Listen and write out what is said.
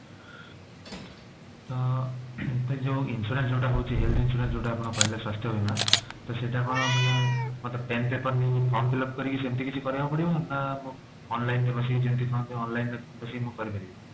ତ ଏ ଯୋଊ insurance ଯୋଉଟା ହଉଛି health insurance ଯୋଉଟା ଆପଣ କହିଲେ ସ୍ୱାସ୍ଥ୍ୟ ବୀମା ତ ସେଟା କଣ ମାନେ ମୋତେ pen paper form fill up କରି ସେମିତି କିଛି କରିବାକୁ ପଡିବ ନା online ରେ ବସିକି ଯେମିତି କହନ୍ତି online ରେ ବସିକି ମୁଁ କରିପାରିବି